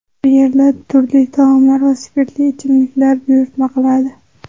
Bu yerda turli taomlar va spirtli ichimlik buyurtma qiladi.